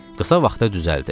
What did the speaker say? Qısa vaxtda düzəldi.